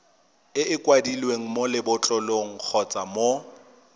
kwadilweng mo lebotlolong kgotsa mo